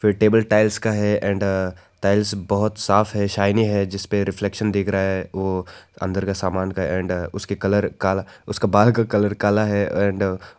table tiles का है and tiles बहोत साफ है शाइनी है जिस पे रिफ्लेक्शन दिख रहा है ओ अंदर का सामान का एंड उसके कलर का उसके बाल का कलर काला है एंड --